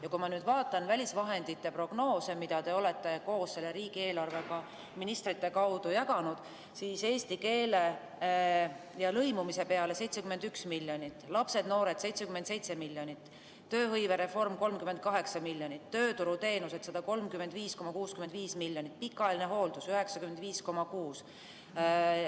Ja kui ma vaatan nende välisvahendite prognoose, mida te olete koos selle riigieelarvega ministrite kaudu jaganud, siis näen, et eesti keele ja lõimumise peale läheb 71 miljonit, lastele-noortele 77 miljonit, tööhõivereformile 38 miljonit, tööturuteenustele 135,65 miljonit, pikaajalisele hooldusele 95,6 miljonit.